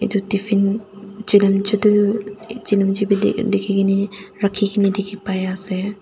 edu tiffin cilimci tu chilimci bi dik dikhikaena rakhi Kane dikhipaiase.